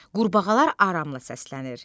Qurbağalar aramla səslənir.